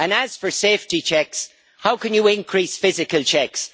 As for safety checks, how can you increase physical checks?